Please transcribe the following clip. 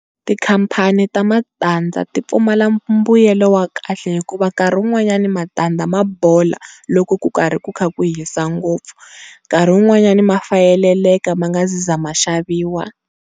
Tikhampani ta matansza ti pfumala mbuyelo wa kahle hikuva nkurhi wun'wanyana matandza ma bola loko ku karhi ku kha ku hisa ngopfu, nkarhi wun'wanyana ma fayeleka ma nga si za ma xaviwa.